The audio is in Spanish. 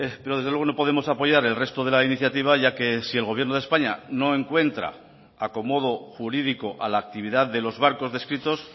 pero desde luego no podemos apoyar el resto de la iniciativa ya que si el gobierno de españa no encuentra acomodo jurídico a la actividad de los barcos descritos